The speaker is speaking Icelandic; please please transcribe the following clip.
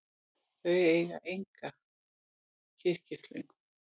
Þau eiga enga kyrkislöngu.